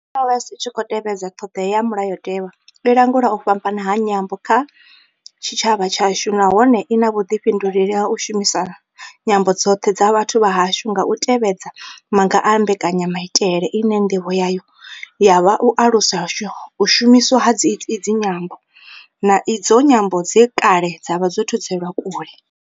NLS I tshi khou tevhedza ṱhodea dza Mulayo tewa, i langula u fhambana ha nyambo kha tshitshavha tshashu nahone I na vhuḓifhinduleli ha u shumisa nyambo dzoṱhe dza vhathu vha hashu nga u tevhedza maga a mbekanya maitele ine ndivho yayo ya vha u alusa u shumiswa ha idzi nyambo, na idzo nyambo dze kale dza vha dzo thudzelwa kule.